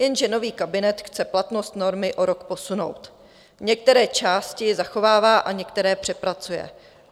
Jenže nový kabinet chce platnost normy o rok posunout, některé části zachovává a některé přepracuje.